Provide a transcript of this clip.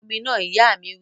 Bọ omi náà! Ìyá mi wí